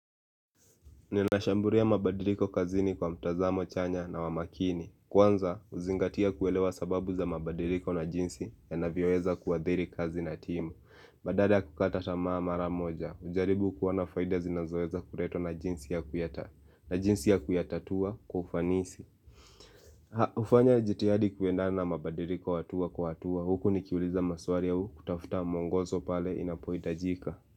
Ninashamburia mabadiliko kazini kwa mtazamo chanya na wamakini Kwanza, uzingatia kuelewa sababu za mabadiliko na jinsi ya navyoeza kua dhiri kazi na timu. Badala ya kukata tamaa maramoja ujaribu kuona faida zinazoeza kuletwa na jinsi ya kuyatatua kwa ufanisi. Ha, ufanya jitihadi kuenda na mabadiliko hatua kwa hatua Huku nikiuliza maswari au kutafuta mwongozo pale inapohitajika.